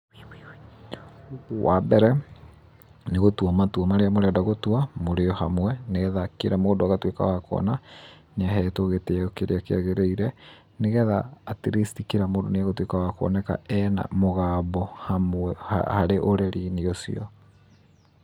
Wa mbere, nĩ gũtua matua marĩa mũrenda gũtũa mũrĩ o hamwe, nĩgetha kila mũndũ agatuĩka wa kuona nĩ ahetwo gĩtĩyo kĩrĩa kĩagĩrĩire, nĩgetha at least kila mũndũ nĩegũtuĩka wa kuoneka ena mũgambo hamwe harĩ ũreri-inĩ ũcio.